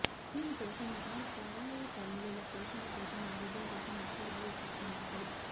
దీనికోసం ఆ పరాయితల్లుల పోషణ కోసం ఆరోగ్యం కోసం లక్షలు వెచ్చిస్తున్నారు